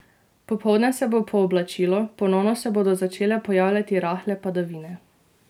Popoldne se bo pooblačilo, ponovno se bodo začele pojavljati rahle padavine.